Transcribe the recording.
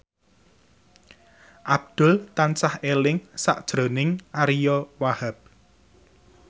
Abdul tansah eling sakjroning Ariyo Wahab